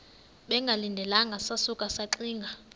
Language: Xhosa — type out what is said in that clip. bengalindelanga sasuka saxinga